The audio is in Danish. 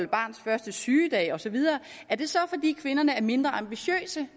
barns første sygedag osv er det så fordi kvinderne er mindre ambitiøse